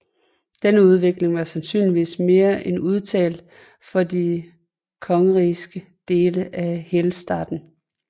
Denne udvikling var sandsynligvis endnu mere udtalt for de kongerigske dele af Helstaten